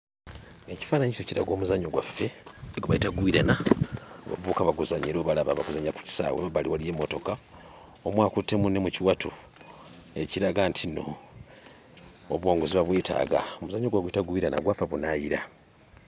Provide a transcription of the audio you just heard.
Ekifaananyi kino kiraga omuzannyo gwaffe gwe bayita gwirana abavubuka baguzannya era obalaba baguzannyira ku kisaawe; emabbali waliyo emmotoka. Omu akutte munne mu kiwato ekiraga ntinno obuwanguzi babwetaaga. Omuzannyo guno baguyita gwirana, gwava bunaayira.